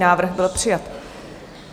Návrh byl přijat.